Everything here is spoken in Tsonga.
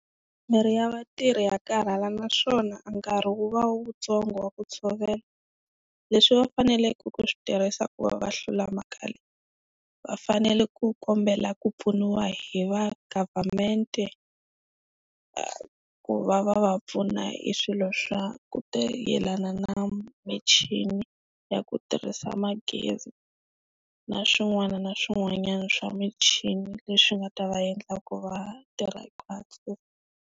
Miri ya vatirhi ya karhala naswona a nkarhi wu va wu tsongo wa ku tshovela, leswi va faneleke ku swi tirhisa ku va va hlula mhaka leyi va fanele ku kombela ku pfuniwa hi va government-e ku va va va pfuna hi swilo swa ku ta yelana na michini ya ku tirhisa magezi na swin'wana na swin'wana swa michini leswi nga ta va endla ku va tirha kahle.